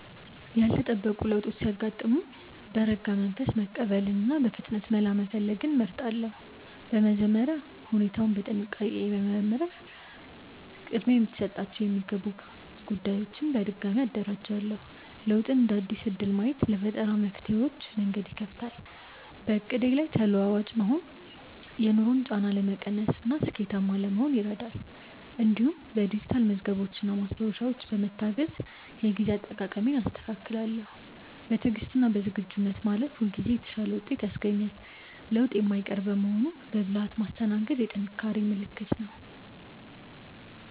ያልተጠበቁ ለውጦች ሲያጋጥሙኝ በረጋ መንፈስ መቀበልንና በፍጥነት መላ መፈለግን እመርጣለሁ። በመጀመሪያ ሁኔታውን በጥንቃቄ በመመርመር ቅድሚያ ሊሰጣቸው የሚገቡ ጉዳዮችን በድጋሚ አደራጃለሁ። ለውጥን እንደ አዲስ እድል ማየት ለፈጠራ መፍትሄዎች መንገድ ይከፍታል። በዕቅዴ ላይ ተለዋዋጭ መሆን የኑሮን ጫና ለመቀነስና ስኬታማ ለመሆን ይረዳል። እንዲሁም በዲጂታል መዝገቦችና ማስታወሻዎች በመታገዝ የጊዜ አጠቃቀሜን አስተካክላለሁ። በትዕግስትና በዝግጁነት ማለፍ ሁልጊዜ የተሻለ ውጤት ያስገኛል። ለውጥ የማይቀር በመሆኑ በብልሃት ማስተናገድ የጥንካሬ ምልክት ነው።